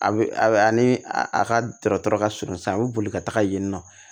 A bɛ ani a ka dɔgɔtɔrɔ ka surun sisan a bɛ boli ka taga yen nɔ